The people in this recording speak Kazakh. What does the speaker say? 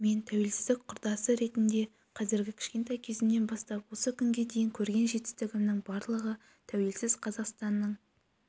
мен тәуелсіздік құрдасы ретінде қазіргі кішкентай кезімнен бастап осы күнге дейін көрген жетістігімнің барлығы тәуелсіз қазақстанның